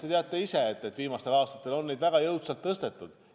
Te teate ise ka, et viimastel aastatel on seda väga jõudsalt tõstetud.